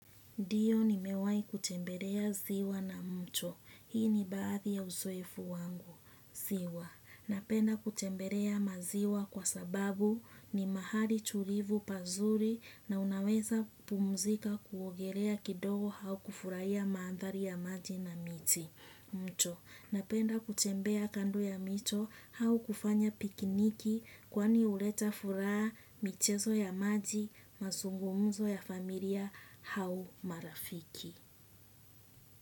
Ndio nimewahi kutembelea ziwa na mto. Hii ni baadhi ya uzoefu wangu. Ziwa. Napenda kutembelea maziwa kwa sababu ni mahali tulivu pazuri na unaweza pumzika kuogelea kidogo au kufurahia mandhari ya maji na miti. Mto, napenda kutembea kando ya mito, au kufanya pikiniki, kwani huleta furaha, michezo ya maji, mazungumzo ya familia, au marafiki.